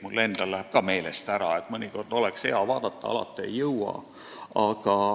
Mul endal läheb ka meelest ära, mõnikord oleks hea vaadata, aga alati ei jõua.